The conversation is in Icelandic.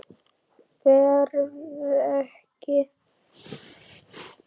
Berð ekki.